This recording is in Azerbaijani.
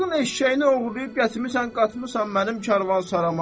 Xalqın eşşəyini oğurlayıb gətirmisən qatmısan mənim karvansarama.